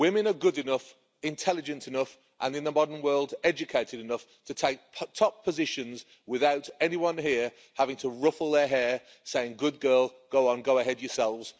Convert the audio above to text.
Women are good enough, intelligent enough, and in the modern world, educated enough, to take top positions without anyone here having to ruffle their hair saying Good girl, go on, go ahead yourselves'.